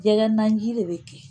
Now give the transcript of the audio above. Jɛgɛ nanji de bɛ kɛ